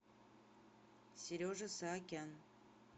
сережа саакян